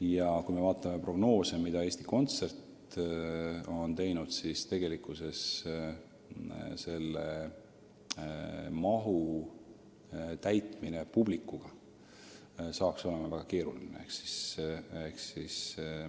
Ja kui me vaatame prognoose, mis Eesti Kontsert on teinud, siis tegelikkuses oleks nii suure hoone täitmine publikuga väga keeruline.